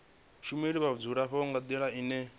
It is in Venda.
shumela vhadzulapo nga ndila ine